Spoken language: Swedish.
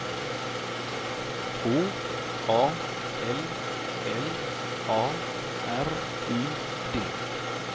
H A L L A R Y D